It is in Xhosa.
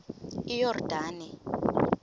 iyordane